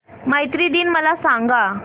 मैत्री दिन मला सांगा